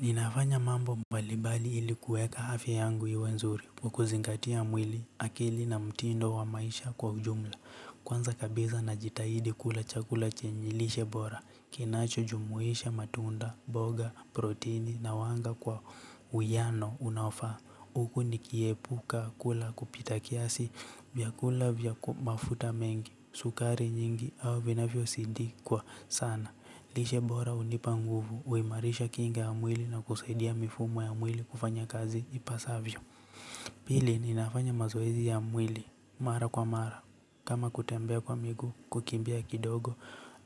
Ninafanya mambo mbalibali ili kuweka afya yangu iwe nzuri kwa kuzingatia mwili akili na mtindo wa maisha kwa ujumla. Kwanza kabisa najitahidi kula chakula chenye lishe bora. Kinachojumuisha matunda, mboga, proteini na wanga kwa uwiano unaofaa. Huku nikiepuka kula kupita kiasi vyakula vya mafuta mengi, sukari nyingi au vinafyosindikwa sana. Lishe bora hunipa nguvu, huimarisha kinga ya mwili na kusaidia mifumo ya mwili kufanya kazi ipasavyo. Pili ninafanya mazoezi ya mwili, mara kwa mara, kama kutembea kwa miguu kukimbia kidogo,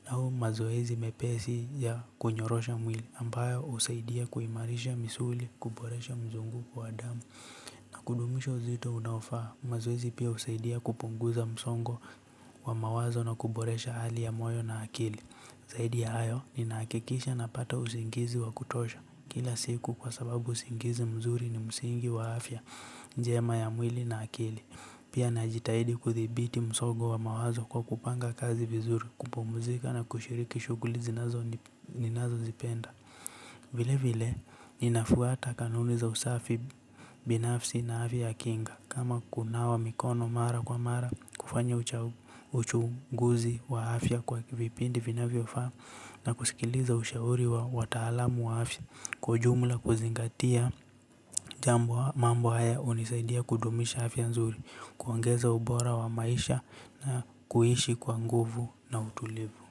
au mazoezi mepesi ya kunyorosha mwili ambayo husaidia kuimarisha misuli kuboresha mzunguko wa damu. Na kudumisho uzito unaofaa, mazoezi pia husaidia kupunguza msongo wa mawazo na kuboresha hali ya moyo na akili. Zaidi ya hayo, ninahakikisha napata usingizi wa kutosha. Kila siku kwa sababu usingizi mzuri ni msingi wa afya, njema ya mwili na akili. Pia najitahidi kuthibiti msongo wa mawazo kwa kupanga kazi vizuri, kupumzika na kushiriki shughuli ninazozipenda. Vile vile ninafuata kanuni za usafi binafsi na afya ya kinga kama kunawa mikono mara kwa mara kufanya uchunguzi wa afya kwa vipindi vinavyofaa na kusikiliza ushauri wa wataalamu wa afya kwa ujumla kuzingatia jambo mambo haya hunisaidia kudumisha afya nzuri kuongeza ubora wa maisha na kuishi kwa nguvu na utulivu.